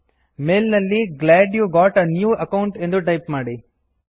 ಮೇಲ್ ನಲ್ಲಿ glad you got a new account ಎಂದು type ಮಾಡಿ